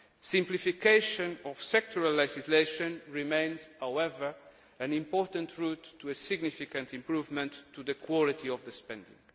Simplification of sectoral legislation remains, however, an important route to a significant improvement in the quality of spending.